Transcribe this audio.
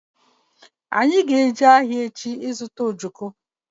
Anyị ga-eje ahịa echi ịzụta ojoko